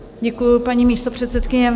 Děkuju, paní místopředsedkyně.